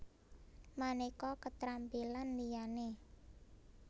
Manéka keterampilan liyané